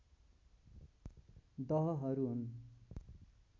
दहहरू हुन्